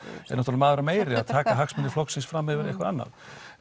náttúrulega maður meiri að taka hagsmuni flokksins fram yfir eitthvað annað